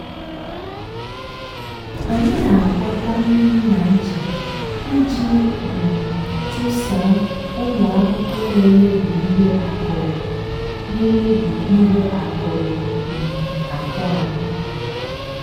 anyị na-agwọkọ mmiri na ncha iji um chụsaa ụmụ ahụhụ na-emebi ihe akụrụ na-emebi ihe akụrụ um akụ anyị.